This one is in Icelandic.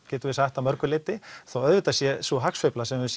getum við sagt að mörgu leyti þó auðvitað sé sú hafsveifla sem við